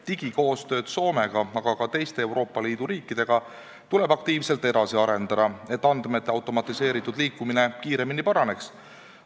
Digikoostööd Soomega, aga ka teiste Euroopa Liidu riikidega tuleb aktiivselt edasi arendada, et andmete automatiseeritud liikumine kiiremini paraneks.